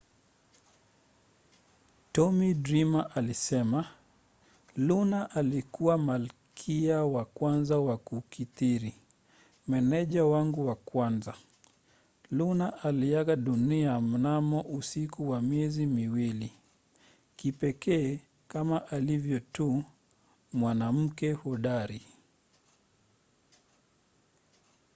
tommy dreamer alisema luna alikuwa malkia wa kwanza wa kukithiri. meneja wangu wa kwanza. luna aliaga dunia mnamo usiku wa miezi miwili. kipekee kama alivyo tu. mwanamke hodari.